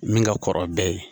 Min ka kɔrɔ bɛɛ ye